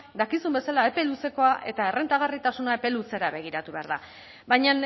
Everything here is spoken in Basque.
dakizun bezala epe luzekoa eta errentagarritasuna epe luzera begiratu behar da baina